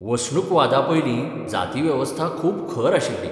वसणुकवादापयलीं जातीवेवस्था खूब खर आशिल्ली.